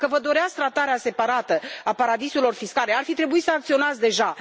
Dacă vă doreați tratarea separată a paradisurilor fiscale, ar fi trebuit să acționați deja.